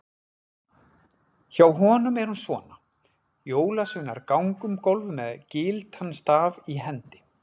Hjá honum er hún svona: Jólasveinar ganga um gólf með gyltan staf í hendi.